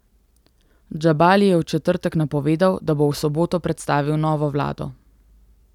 Džabali je v četrtek napovedal, da bo v soboto predstavil novo vlado.